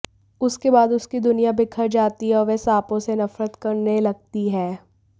उसके बाद उसकी दुनिया बिखर जाती है और वह सांपों से नफरत करने लगती है